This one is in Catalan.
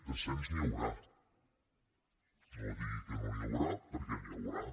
de cens n’hi haurà no digui que no n’hi haurà perquè n’hi haurà